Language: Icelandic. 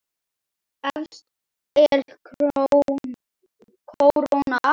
Efst er kóróna.